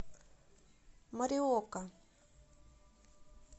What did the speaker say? мориока